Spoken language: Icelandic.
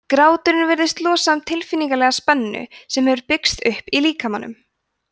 gráturinn virðist losa um tilfinningalega spennu sem hefur byggst upp í líkamanum